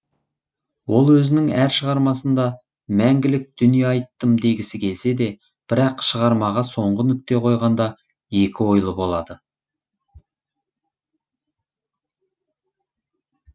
ол өзінің әр шығармасында мәңгілік дүние айттым дегісі келсе де бірақ шығармаға соңғы нүкте қойғанда екі ойлы болады